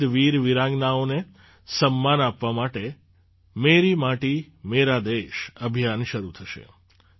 શહીદ વીરવીરાંગનાઓને સમ્માન આપવા માટે મેરી માટી મેરા દેશ અભિયાન શરૂ થશે